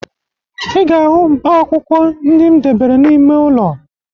Ị ga-ahụ mkpaakwụkwọ ndị m debere n'ime ụlọ